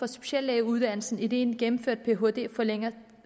speciallægeuddannelsen idet en gennemført phd forlænger